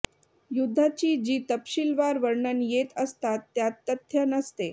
युद्धाची जी तपशीलवार वर्णने येत असतात त्यात तथ्य नसते